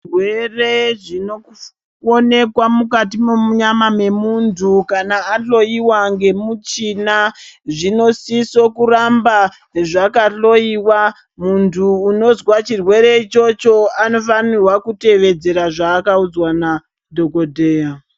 Zvirwere zvinokone kuonekwa munyama mwemuntu kana ahloyiwa ngemuchina zvinosise kuramba zvakahloyiwa. Muntu unozwa chirwere ichocho anofanirwa kutevedzera zvaakaudzwa nadhokodheya.